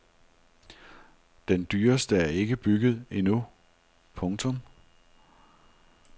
Den dyreste er ikke bygget endnu. punktum